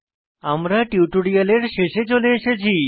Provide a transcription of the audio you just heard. আমরা টিউটোরিয়ালের শেষে চলে এসেছি